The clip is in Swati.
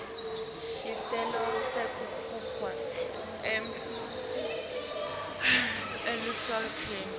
sicelo sekufakwa eluhlelweni